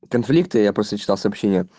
конфликты я просто читал сообщение